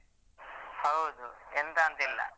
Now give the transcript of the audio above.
ಹೌದು ಎಂತಂತಿಲ್ಲ